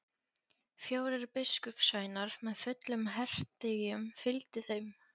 Fjórir biskupssveinar með fullum hertygjum fylgdu þeim.